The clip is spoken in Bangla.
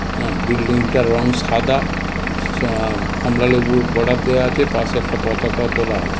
হ্যাঁ বিল্ডিং -টার রং সাদা স আ কমলা লেবু বর্ডার দেওয়া আছে পাশে একটি পতাকাও তোলা আছে।